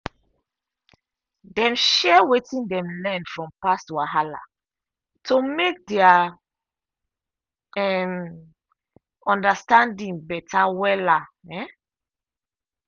dem share wetin dem learn from past wahala to make their um understanding better wella um